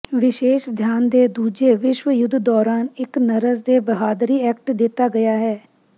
ਵਿਸ਼ੇਸ਼ ਧਿਆਨ ਦੇ ਦੂਜੇ ਵਿਸ਼ਵ ਯੁੱਧ ਦੌਰਾਨ ਇਕ ਨਰਸ ਦੇ ਬਹਾਦਰੀ ਐਕਟ ਦਿੱਤਾ ਗਿਆ ਹੈ